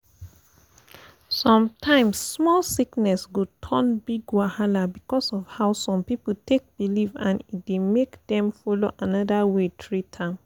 sometimes small sickness go turn big wahala because of how some people take believe and e dey make dem follow another way treat am